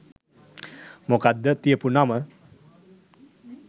මොකක්ද තියපු නම